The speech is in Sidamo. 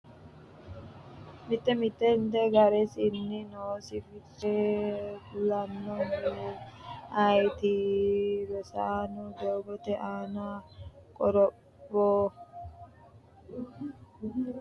mitte mittente ga’resinni noosi fiche kulannoehu ayeeti? Rosaano, “Doogote Aani Qoropho” yaanno uminni borreessitine sa’ini isayyo • Fidalete jawishshi hasiisanno garinni qaagginanni?